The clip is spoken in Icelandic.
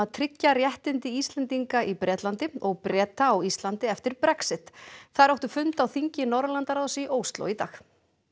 tryggja réttindi Íslendinga í Bretlandi og Breta á Íslandi eftir Brexit þær áttu fund á þingi Norðurlandaráðs í Ósló í dag